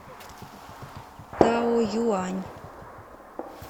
таоюань